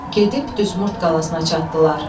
Gedib düz Mord qalasına çatdılar.